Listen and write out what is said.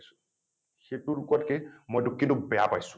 সেইটো নোকোৱাতকে মই কিন্তু টোক বেয়া পাইছোঁ